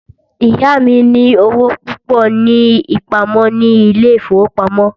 Ìyá mí ní owó púpọ ní ìpamọ́ ní ilé ìfọwọ́pamo.